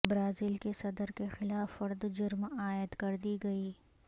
Brazil کے صدر کے خلاف فرد جرم عائد کر دی گئی